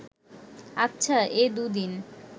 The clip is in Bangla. আচ্ছা, এ দুদিন